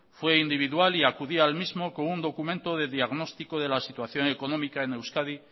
fue individual y acudí al mismo con un documento de diagnostico de la situación económica en euskadi